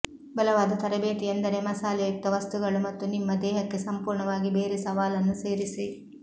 ಬಲವಾದ ತರಬೇತಿ ಎಂದರೆ ಮಸಾಲೆಯುಕ್ತ ವಸ್ತುಗಳು ಮತ್ತು ನಿಮ್ಮ ದೇಹಕ್ಕೆ ಸಂಪೂರ್ಣವಾಗಿ ಬೇರೆ ಸವಾಲನ್ನು ಸೇರಿಸಿ